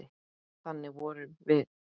Þannig vorum við.